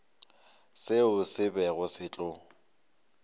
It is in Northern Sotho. seo se bego se tlo